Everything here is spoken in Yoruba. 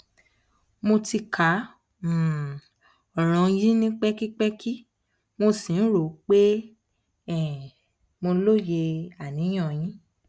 mo ti ka um ọràn yín ní pẹkipẹki mo sì rò pé um mo loye aniyan yín